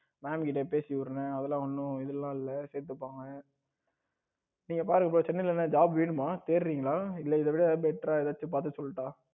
mam கிட்ட பேசி விடுறேன் அதெல்லாம் ஒன்னும் இதெல்லாம் இல்ல சேத்துப்பாங்க நீங்க பாருங்க bro சென்னையில் ஏதும் job வேணுமா தேடுறீங்களா இல்ல இதை விட better ஏதாவது பார்த்து சொல்லட்டா